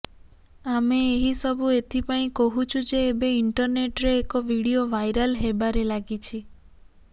ଆମେ ଏହିସବୁ ଏଥିପାଇଁ କହୁଛୁ ଯେ ଏବେ ଇଣ୍ଟରନେଟ୍ରେ ଏକ ଭିଡିଓ ଭାଇରାଲ୍ ହେବାରେ ଲାଗିଛି